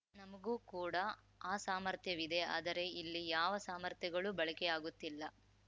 ನಮಗೂ ಕೂಡ ಆ ಸಾಮರ್ಥ್ಯವಿದೆ ಆದರೆ ಇಲ್ಲಿ ಯಾವ ಸಾಮರ್ಥ್ಯಗಳೂ ಬಳಕೆಯಾಗುತ್ತಿಲ್ಲ